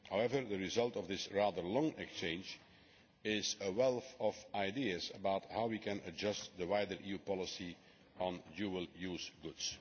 However, the result of this rather long exchange is a wealth of ideas about how we can adjust the wider EU policy on dual use goods.